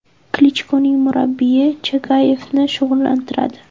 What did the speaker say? Klichkoning murabbiyi Chagayevni shug‘ullantiradi.